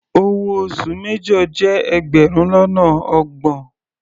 Owó oṣù major jẹ́ ẹgbẹrun lọ́nà ọgbọ̀n.